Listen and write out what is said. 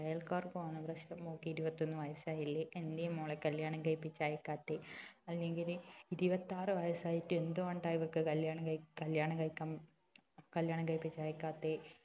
അയൽക്കാർക്കുമാണ് പ്രശ്നം മോൾക്ക് ഇരുപത്തി ഒന്ന് വയസ് ആയില്ലേ എന്തേ മോളെ കല്യാണം കഴിപ്പിച്ച് അയക്കാത്തെ അല്ലങ്കില് ഇരുപത്തി ആറ് വയസ് ആയിട്ട് എന്ത് കൊണ്ടാ ഇവക്ക് കല്യാണം കഴിക്കാ കല്യാണം കഴിക്കാ കല്യാണം കഴിപ്പിച്ച് അയക്കാത്തെ